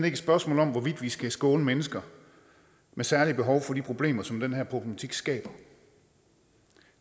et spørgsmål om hvorvidt vi skal skåne mennesker med særlige behov for de problemer som den her problematik skaber